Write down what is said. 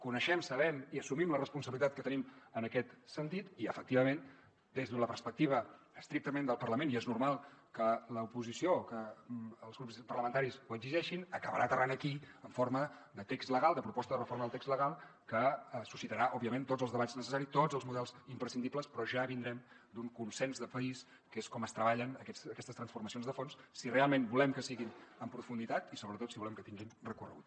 coneixem sabem i assumim la responsabilitat que tenim en aquest sentit i efectivament des de la perspectiva estrictament del parlament i és normal que l’oposició que els grups parlamentaris ho exigeixin acabarà aterrant aquí en forma de text legal de proposta de reforma del text legal que suscitarà òbviament tots els debats necessaris tots els models imprescindibles però ja vindrem d’un consens de país que és com es treballen aquestes transformacions de fons si realment volem que siguin en profunditat i sobretot si volem que tinguin recorregut